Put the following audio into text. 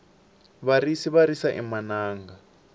varisi va risa emananga